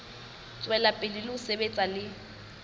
tswela pele ho sebetsa le